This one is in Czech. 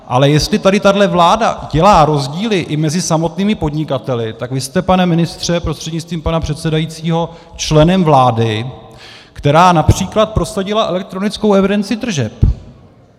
Ale jestli tady tahle vláda dělá rozdíly i mezi samotnými podnikateli, tak vy jste, pane ministře prostřednictvím pana předsedajícího, členem vlády, která například prosadila elektronickou evidenci tržeb.